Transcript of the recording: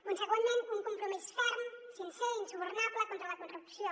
consegüentment un compromís ferm sincer insubornable contra la corrupció